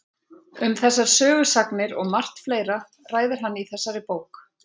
Um þessar sögusagnir og margt fleira ræðir hann í þessari bók.